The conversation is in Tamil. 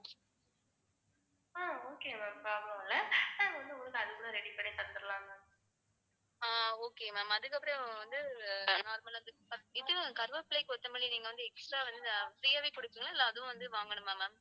கருவேப்பிலை, கொத்தமல்லி நீங்க வந்து extra வந்து free ஆவே குடுப்பீங்களா இல்ல அதுவும் வந்து வாங்கணுமா ma'am